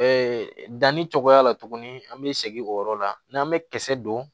danni cogoya la tuguni an bɛ segin o yɔrɔ la n'an bɛ kisɛ don